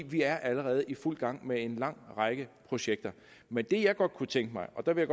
vi er allerede i fuld gang med en lang række projekter men det jeg godt kunne tænke mig og der vil